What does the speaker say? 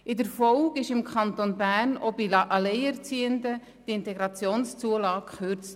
In der Folge wurde im Kanton Bern die IZU auch bei Alleinerziehenden gekürzt.